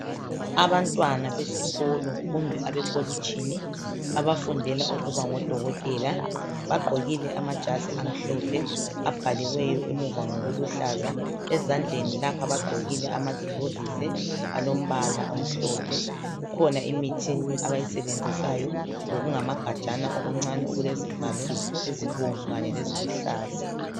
Abantwana besikolo kumbe abekolitshini abafundela ukuba ngo Dokotela bagqokile amajazi amhlophe abhaliweyo emuva ngokuluhlaza ezandleni lapha bagqokile amaglovisi alombala omhlophe. Kukhona imithi abayisebenzisayo lokungamagajana okuncane okulezivalo ezibomvu kanye leziluhlaza.